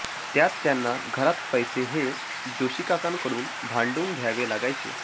त्यात त्यांना घरात पैसे हे जोशिकाकांकडून भांडून घ्यावे लागायचे